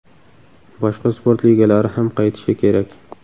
Boshqa sport ligalari ham qaytishi kerak.